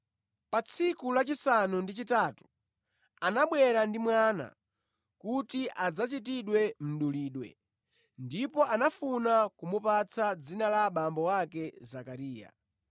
Pa tsiku lachisanu ndi chitatu anabwera ndi mwana kuti adzachitidwe mdulidwe, ndipo anafuna kumupatsa dzina la abambo ake Zakariya,